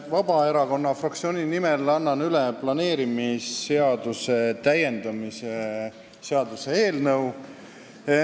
Annan Vabaerakonna fraktsiooni nimel üle planeerimisseaduse täiendamise seaduse eelnõu.